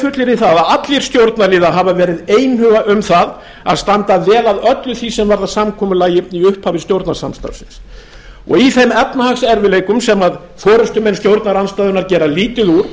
fullyrði að allir stjórnarliðar hafa verið einhuga um að standa vel að öllu því sem varðar samkomulag í upphafi stjórnarsamstarfsins í þeim efnahagserfiðleikum sem forustumenn stjórnarandstöðunnar gera lítið úr